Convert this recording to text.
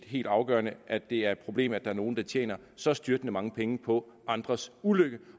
helt afgørende at det er et problem at der er nogle der tjener så styrtende mange penge på andres ulykke